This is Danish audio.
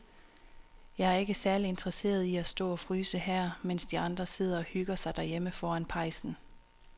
Jeg er ikke særlig interesseret i at stå og fryse her, mens de andre sidder og hygger sig derhjemme foran pejsen.